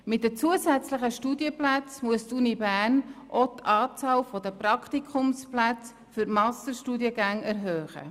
Mit den zusätzlichen Studienplätzen muss die Universität Bern auch die Anzahl der Praktikumsplätze für die Masterstudiengänge erhöhen.